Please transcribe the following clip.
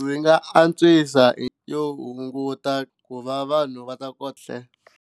Ndzi nga antswisa hi yo hunguta ku va vanhu va ta ko